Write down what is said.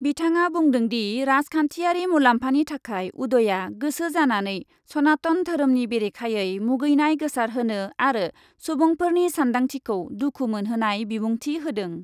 बिथाङा बुंदोंदि, राजखान्थियारि मुलाम्फानि थाखाय उदयआ गोसो जानानै सनातन धोरोमनि बेरेखायै मुगैनाय गोसारहोनो आरो सुबुंफोरनि सान्दांथिखौ दुखु मोनहोनाय बिबुंथि होदों।